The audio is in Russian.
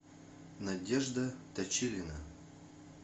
надежда точилина